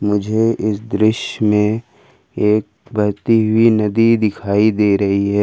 मुझे इस दृश्य में एक बहती हुई नदी दिखाई दे रही है।